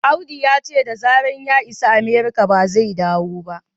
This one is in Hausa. Audu ya ce da zarar ya isa Amerika ba zai dawo ba